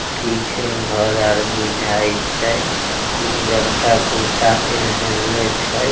पीछे घर आर बुझाए छै उज्जर का कुर्ता पहनएले छै।